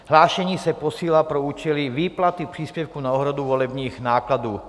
Hlášení se posílá pro účely výplaty příspěvku na úhradu volebních nákladů.